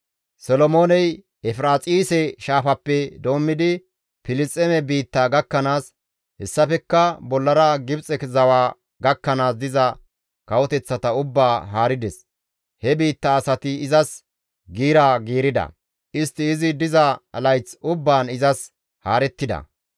Solomooney Efiraaxise Shaafaappe doommidi Filisxeeme biittaa gakkanaas, hessafekka bollara Gibxe zawa gakkanaas diza kawoteththata ubbaa haarides; he biitta asati izas giira giirida; istti izi diza layth ubbaan izas haarettida.